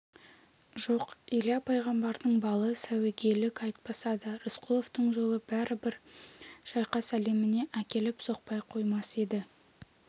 жоқ илья пайғамбардың балы сәуегейлік айтпаса да рысқұловтың жолы бәрібір шайқас әлеміне әкеліп соқпай қоймас еді